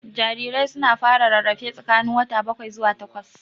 Jarirai su na fara rarrafe tsakanin wata bakwai zuwa takwas